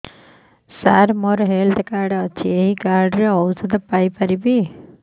ସାର ମୋର health card ଅଛି ଏହି କାର୍ଡ ରେ ଔଷଧ ପାଇପାରିବି